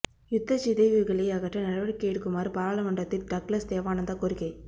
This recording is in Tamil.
யுத்தச் சிதைவுகளை அகற்ற நடவடிக்கை எடுக்குமாறு பாராளுமன்றத்தில் டக்ளஸ் தேவானந்தா கோரிக்கை